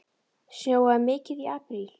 Snjóaði mikið í apríl?